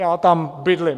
Já tam bydlím.